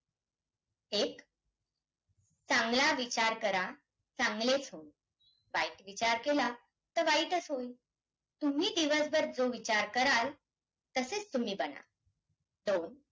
एक चांगला विचार करा, चांगलेचं होईल, वाईट विचार केला तर वाईटच होईल. तुम्ही दिवसभर जो विचार कराल, तसेच तुम्ही बनालं. दोन